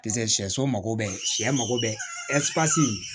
Piseke sɛso mago bɛ sɛ mako bɛ